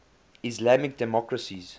islamic democracies